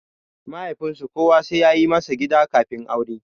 Mahaifinsu kowa sai yayi masa gida kafin aure.